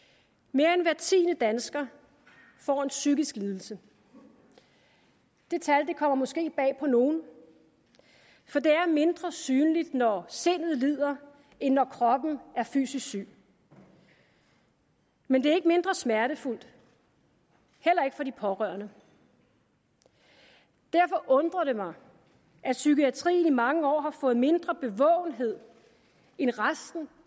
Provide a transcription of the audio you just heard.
mere end hver tiende dansker får en psykisk lidelse det tal kommer måske bag på nogen for det er er mindre synligt når sindet lider end når kroppen er fysisk syg men det er ikke mindre smertefuldt heller ikke for de pårørende derfor undrer det mig at psykiatrien i mange år har fået mindre bevågenhed end resten